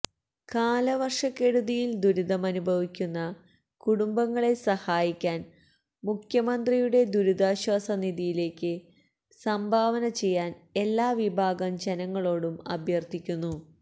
കാലവര്ഷക്കെടുതിയില് ദുരിതമനുഭവിക്കുന്ന കുടുംബങ്ങളെ സഹായിക്കാന് മുഖ്യമന്ത്രിയുടെ ദുരിതാശ്വാസ നിധിയിലേക്ക് സംഭാവന ചെയ്യാന് എല്ലാവിഭാഗം ജനങ്ങളോടും അഭ്യര്ത്ഥിക്കുന്നു